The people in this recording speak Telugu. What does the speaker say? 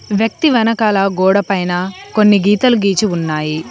వ్యక్తి వెనకాల గోడపైన కొన్ని గీతాలు గీసి ఉన్నాయి.